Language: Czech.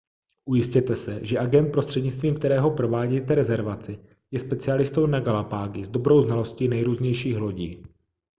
ujistěte se že agent prostřednictvím kterého provádíte rezervaci je specialistou na galapágy s dobrou znalostí nejrůznějších lodí